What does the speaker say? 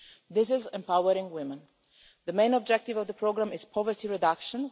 This is empowering women. The main objective of the programme is poverty reduction.